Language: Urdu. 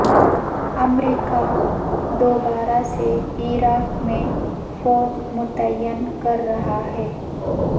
امریکہ دوبارہ سے عراق میں فوج متعین کر رہا ہے